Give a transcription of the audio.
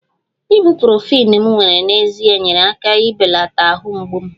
ibuprofen m were n'ezie nyeere aka ibelata ahụ mgbu m